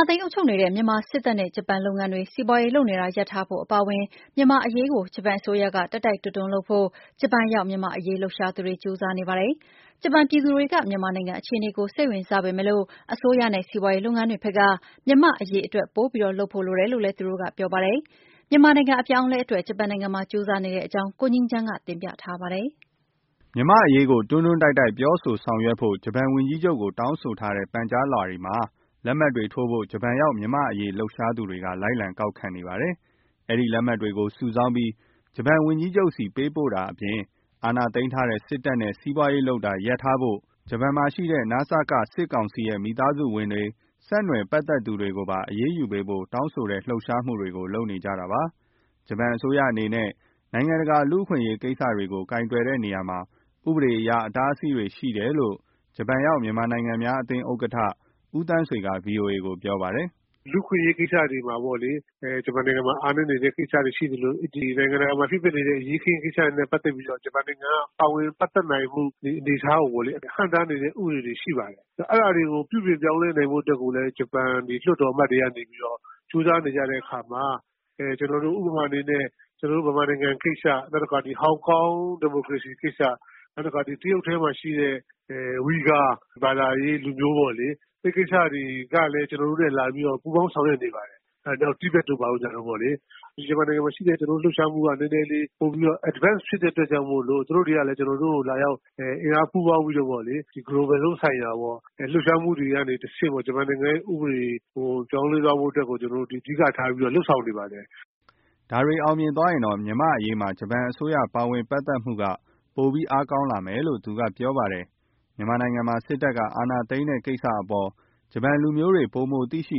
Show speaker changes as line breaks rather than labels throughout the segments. ာသိမ်း အုပ်ချုပ်နေတဲ့ မြန်မာစစ်တပ်နဲ့ ဂျပန်လုပ်ငန်းတွေ စီးပွားရေးလုပ်နေတာ ရပ်ထားဖို့ အပါအဝင် မြန်မာ့အရေးကို ဂျပန်အစိုးရက တိုက်တိုက်တွန်းတွန်းလုပ်ဖို့ ဂျပန်ရောက် မြန်မာ့အရေးလှုပ်ရှားသူတွေ ကြိုးစားနေကြပါတယ်။ ဂျပန်ပြည်သူတွေက မြန်မာ့နိုင်ငံက အခြေအနေကို စိတ်ဝင်စားပေမဲ့ အစိုးရနဲ့ စီးပွားရေးလုပ်ငန်းတွေဘက်က မြန်မာ့အရေးအတွက် ပိုပြီး လုပ်ဖို့လိုတယ်လို့ သူတို့ကပြောပါတယ်။ မြန်မာနိုင်ငံ အပြောင်းအလဲအတွက် ဂျပန်နိုင်ငံမှာ ကြိုးစားနေကြတဲ့အကြောင်း ကိုငြိမ်းချမ်းက ဆက်ပြီးတင်ပြပါမယ်။
မြန်မာ့အရေးကို တွန်းတွန်းတိုက်တိုက်ပြောဆို ဆောင်ရွက်အောင် ဂျပန်ဝန်ကြီးချုပ်ကို တောင်းဆိုထားတဲ့ ပန်ကြားလွှာတွေမှာ လက်မှတ်တွေကို ဂျပန်ရောက် မြန်မာ့အရေးလှုပ်ရှားသူတွေ လိုက်ခံကောက်ခံနေပါတယ်။ အဲဒီလက်မှတ်တွေကို စုဆောင်းပြီး ဂျပန်ဝန်ကြီးချုပ်ဆီ ပေးပို့တာအပြင် အာဏာသိမ်းထားတဲ့ စစ်တပ်နဲ့ စီးပွားရေးလုပ်တာ ရပ်ထားဖို့၊ ဂျပန်မှာ ရှိနေတဲ့ နစက စစ်ကောင်စီရဲ့ မိသားစုဝင်တွေ၊ ဆက်နွယ်ပတ်သက်နေသူတွေကို အရေးယူပေးဖို့ တောင်းဆိုတဲ့ လှုပ်ရှားမှုတွေကို လုပ်နေကြတာပါ။ ဂျပန်အစိုးရအနေနဲ့ နိုင်ငံတကာ လူ့အခွင့်ကိစ္စတွေကို ကိုင်တွယ်တဲ့နေရာမှာ ဥပဒေအရ အတားအဆီးတွေရှိတယ်လို့ ဂျပန်ရောက် မြန်မာနိုင်ငံသားများအသင်း ဥက္ကဋ္ဌ ဦးသန်းဆွေက ဗွီအိုအေကို ပြောပါတယ်။
“လူ့အခွင့်အရေး ကိစ္စတွေမှာ ဂျပန်နိုင်ငံမှာ အားနည်းနေတဲ့ ကိစ္စရပ်တွေ ရှိသလို နိုင်ငံတကာမှာ ဖြစ်နေတဲ့ အရေးအခင်း ကိစ္စတွေနဲ့ ပတ်သက်လို့ ဂျပန်က ပါဝင်ပတ်သက်နိုင်မှု အနေအထားကို ဟန့်တားနေတဲ့ ဥပဒေတွေ ရှိပါတယ်။ အဲဒါတွေကို ပြုပြင်ပြောင်းလဲနိုင်ဖို့အတွက်ကိုလည်း ဂျပန်လွှတ်တော် အမတ်တွေကနေ ကြိုးစားနေတဲ့အခါမှာ... ဥပမာအနေနဲ့ ကျနော်တို့ မြန်မာနိုင်ငံကိစ္စ၊ ဟောင်ကောင် ဒီမိုကရေစီကိစ္စ၊ နောက် တရုတ်ထဲမှာ ရှိတဲ့ ဝီဂါဘာသာရေး လူမျိုးပေါ့လေ အဲဒီကိစ္စတွေကလည်း ကျနော်တို့နဲ့ လာပြီးပူးပေါင်း ဆောင်ရွက်နေပါတယ်။ နောက်တိဗက်တို့ပေါ့။ မြန်မာနိုင်ငံမှာရှိတဲ့ လှုပ်ရှားမှုက နည်းနည်းလေးပိုပြီး advanced ဖြစ်တဲ့အတွက်ကြောင့်မို့ သူတို့တွေက ကျနော်တို့ကို လာရောက် အင်အားပူးပေါင်းပြီး global လုံးဆိုင်ရာ လှုပ်ရှားမှုတွေကတဆင့် ဂျပန်နိုင်ငံရဲ့ ဥပဒေတွေ ပြောင်းလဲသွားဖို့အတွက် ကျနော်တို့ အဓိကထား လုပ်ဆောင်နေပါတယ်။
” ဒါတွေ အောင်မြင်သွားရင်တော့ မြန့်မာ့အရေးမှာ ဂျပန်အစိုးရ ပါဝင်ပတ်သက်မှုက ပိုအားကောင်းလာမယ်လို့ သူကပြောပါတယ်။ မြန်မာနိုင်ငံမှာ စစ်တပ် အာဏာသိမ်းတဲ့ကိစ္စအပေါ် ဂျပန်လူမျိုးတွေ ပိုမိုသိရှိ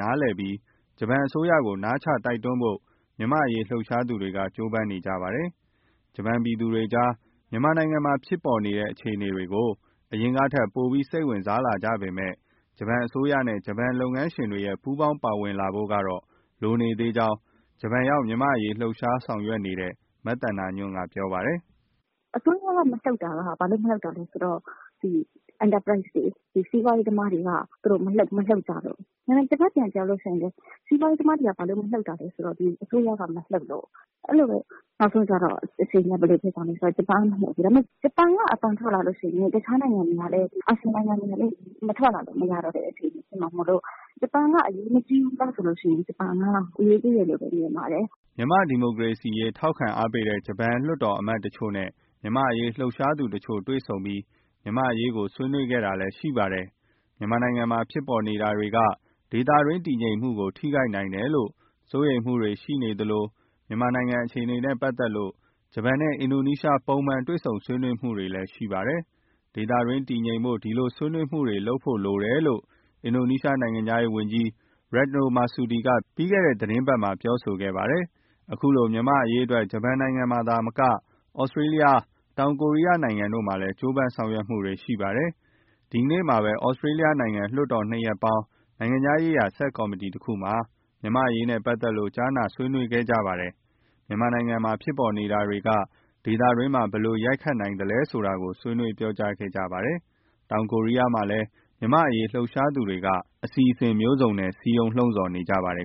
နားလည်ပြီး ဂျပန်အစိုးရကို နားချ တိုက်တွန်းဖို့ မြန်မာ့အရေးလှုပ်ရှားသူတွေက ကြိုးစားနေကြပါတယ်။ ဂျပန်ပြည်သူတွေကြား မြန်မာနိုင်ငံမှာဖြစ်နေတဲ့ အခြေအနေတွေကို အရင်ကထက် ပိုစိတ်ဝင်စားလာကြပေမဲ့ ဂျပန်အစိုးရနဲ့ ဂျပန်လုပ်ငန်းရှင်တွေရဲ့ ပူးပေါင်း ပါဝင်လာဖို့က လိုနေသေးကြောင်း ဂျပန်ရောက် မြန်မာ့အရေး လှုပ်ရှားဆောင်ရွက်နေတဲ့ မသန္တာညွန့်က ပြောပါတယ်
။ “အစိုးရက မလှုပ်တာက ဘာဖြစ်လို့လဲဆိုတော့ enterprise တွေ စီးပွားရေးသမားတွေက မလှုပ်ကြလို့၊ တဘက်ကကြတော့လည်း စီးပွားရေးသမားတွေက ဘာလို့ မလှုပ်လဲဆိုတော့ အစိုးရက မလှုပ်လို့၊ အဲဒီလိုပဲ နောက်ဆုံးကျတော့ အခြေအနေက ဘယ်လိုဖြစ်သွားလဲဆိုတော့ ဂျပန်က မလှုပ်ဘူးပေါ့။ ဂျပန်က အသံထွက်လာလို့ရှိရင် တခြားနိုင်ငံတွေကလည်း အာဆီယံနိုင်ငံတွေကလည်း မထွက်လာလို့ မရတော့တဲ့ အခြေအနေဖြစ်မှာမို့ ဂျပန်က အရေးကြီးသလားဆိုရင် အရေးကြီးတယ်လို့ မြင်ပါတယ်။”
မြန်မာ့ဒီမိုကရေစီရေးထောက်ခံအားပေးတဲ့ ဂျပန်လွှတ်တော်အမတ်တချို့နဲ့ မြန်မာ့အရေးလှုပ်ရှားသူတချို့ တွေ့ဆုံပြီး မြန်မာ့အရေးကို ဆွေးနွေးခဲ့တာလည်း ရှိပါတယ်။ မြန်မာနိုင်ငံမှာဖြစ်နေတာတွေက ဒေသတွင်း တည်ငြိမ်မှုကို ထိခိုက်နိုင်တယ်လို့ စိုးရိမ်မှုတွေ ရှိနေသလို မြန်မာနိုင်ငံအခြေအနေနဲ့ ပတ်သက်လို့ ဂျပန်နဲ့ အင်ဒိုနီးရှား ပုံမှန်တွေ့ဆုံဆွေးနွေးမှုတွေလည်း ရှိပါတယ်။ ဒေသတွင်း တည်ငြိမ်ဖို့ ဒီလိုဆွေးနွေးမှုတွေ လုပ်ဖို့လိုတယ်လို့ အင်ဒိုနီးရှား နိုင်ငံခြားရေးဝန်ကြီး Retno Marsudi က ပြီးခဲ့တဲ့ သီတင်းပတ်မှာ ပြောခဲ့ပါတယ်။ ခုလို မြန်မာ့အရေးအတွက် ဂျပန်နိုင်ငံမှာသာမက Australia နိုင်ငံ၊ တောင်ကိုရီးယားနိုင်ငံတို့မှာလည်း ကြိုးပမ်းဆောင်ရွက်မှုတွေရှိပါတယ်။ ဒီနေ့မှာပဲ Australia နိုင်ငံ လွှတ်တော် ၂ ရပ်ပေါင်း နိုင်ငံခြားရေးရာ ဆပ်ကော်မတီတခုမှာ မြန်မာ့အရေးနဲ့ ပတ်သက်လို့ ကြားနာ ဆွေးနွေးခဲ့ကြပါတယ်။ မြန်မာနိုင်ငံမှာ ဖြစ်နေတာတွေက ဒေသတွင်းမှာ ဘယ်လို ဂယက်ရိုက်နိုင်သလဲဆိုတာကို ဆွေးနွေး ပြောကြားခဲ့ကြပါတယ်။ တောင်ကိုရီးယားမှာလည်း မြန်မာအရေးလှုပ်ရှားသူတွေက အစီအစဉ်မျိုးစုံနဲ့ စည်းရုံး လှုံ့ဆော်နေကြပါတယ်